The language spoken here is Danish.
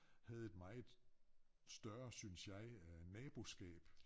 Havde et meget større synes jeg øh naboskab